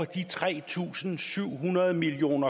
de tre tusind syv hundrede million